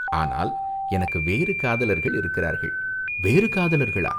ஆனால் எனக்கு வேறு காதலர்கள் இருக்கிறார்கள், வேறு காதலர்களா